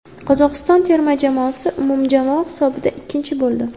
Qozog‘iston terma jamoasi umumjamoa hisobida ikkinchi bo‘ldi.